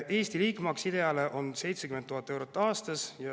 Eesti liikmemaks IDEA‑s on 70 000 eurot aastas.